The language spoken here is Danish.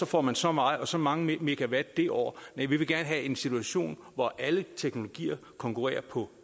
får man så meget og så mange megawatt det år vi vil gerne have en situation hvor alle teknologier konkurrerer på